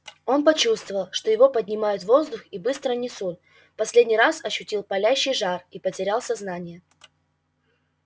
он почувствовал что его поднимают в воздух и быстро несут в последний раз ощутил палящий жар и потерял сознание